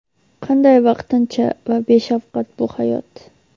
qanday vaqtincha va beshafqat bu hayot.